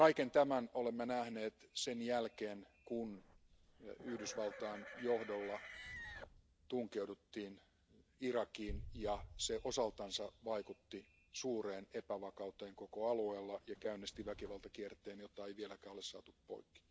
Kaiken tämän olemme nähneet sen jälkeen, kun Yhdysvaltain johdolla tunkeuduttiin Irakiin ja se osaltaan vaikutti suureen epävakauteen koko alueella ja käynnisti väkivaltakierteen, jota ei ole vieläkään saatu poikki.